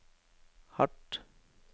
hardt